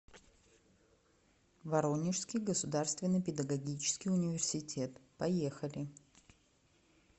воронежский государственный педагогический университет поехали